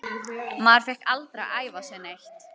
Maður fékk aldrei að æfa sig neitt.